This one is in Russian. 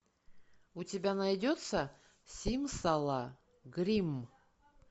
у тебя найдется симсала гримм